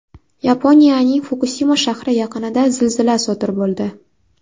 Yaponiyaning Fukusima shahri yaqinida zilzila sodir bo‘ldi.